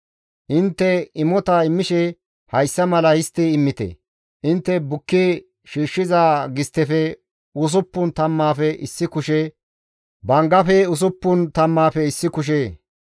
« ‹Intte imota immishe hayssa mala histti immite. Intte bukki shiishshiza gisttefe usuppun tammaafe issi kushe, banggafe usuppun tammaafe issi kushe,